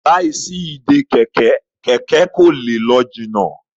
láì sí Ìdè kẹ̀kẹ́, kẹkẹ kò lẹ ló jìnà